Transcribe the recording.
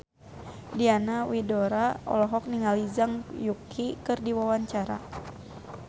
Diana Widoera olohok ningali Zhang Yuqi keur diwawancara